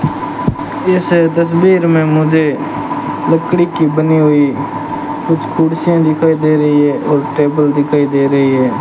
इस तस्वीर में मुझे लकड़ी की बनी हुई कुछ कुर्सियां दिखाई दे रही है और टेबल दिखाई दे रही है।